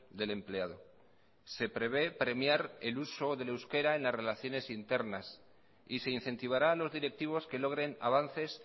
del empleado se prevé premiar el uso del euskera en las relaciones internas y se incentivará a los directivos que logren avances